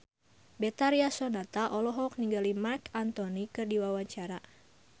Betharia Sonata olohok ningali Marc Anthony keur diwawancara